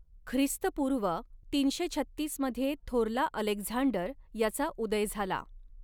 ख्रिस्तपूर्व तीनशे छत्तीस मध्ये थोरला अलेक्झांडर याचा उदय झाला.